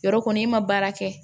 Yɔrɔ kɔni i ma baara kɛ